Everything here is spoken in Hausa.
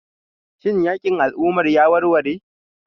Shin yakin al'umma ya warware?